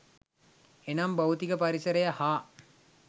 එනම් භෞතික පරිසරය හා